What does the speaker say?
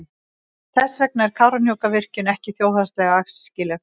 Þess vegna er Kárahnjúkavirkjun ekki þjóðhagslega æskileg.